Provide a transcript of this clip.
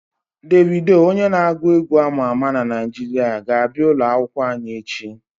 Devido onye n'agu egwu ama ama na Naijiria ga-abia ulo akwukwo anyi echi